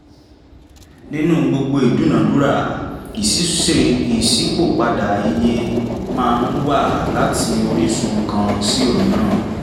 nínú gbogbo ìdúnadúrà ìṣípòpadà iye máa ń wà láti orísun kan sí òmíràn